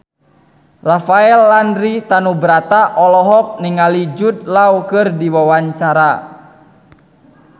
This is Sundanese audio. Rafael Landry Tanubrata olohok ningali Jude Law keur diwawancara